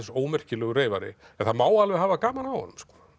ómerkilegur reyfari en það má alveg hafa gaman af honum